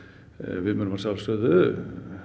við munum að sjálfsögðu